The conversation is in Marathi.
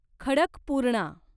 खडकपूर्णा